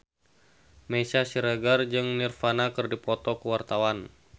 Meisya Siregar jeung Nirvana keur dipoto ku wartawan